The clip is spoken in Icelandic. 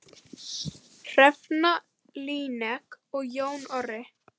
Hrefna Líneik og Jón Orri.